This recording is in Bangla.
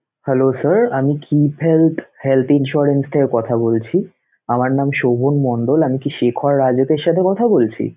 Hello sir আমি health insurance থেকে কথা বলছি আমার নাম শোভন মন্ডল আমি কি শেখর রাজতের সাথে কথা বলছি?